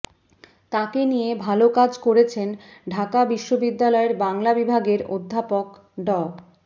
তাকে নিয়ে ভালো কাজ করেছেন ঢাকা বিশ্ববিদ্যালয়ের বাংলা বিভাগের অধ্যাপক ড